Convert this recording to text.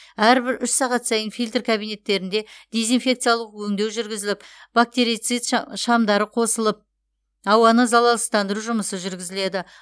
әрбір үш сағат сайын фильтр кабинеттерінде дезинфекциялық өңдеу жүргізіліп бактерицид ша шамдары қосылып ауаны залалсыздандыру жұмысы жүргізіледі